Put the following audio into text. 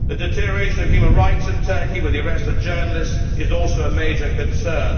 The deterioration of human rights in Turkey, with the arrest of journalists, is also a major concern.